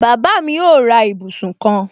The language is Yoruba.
Bàbá mi ó ra ibùsùn kan